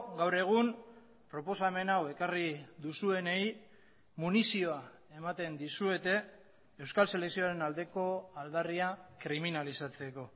gaur egun proposamen hau ekarri duzuenei munizioa ematen dizuete euskal selekzioaren aldeko aldarria kriminalizatzeko